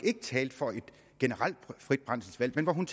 ikke talte for et generelt frit brændselsvalg men at hun